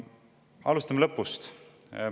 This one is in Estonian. Alustame lõpust.